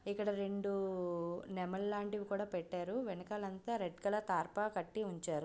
ఇక్కడ రెండు నెమలి లాంటివి కూడా పెట్టారు వెనకాతలంతా రెడ్ కలర్ తార్పా కట్టి ఉంచారు.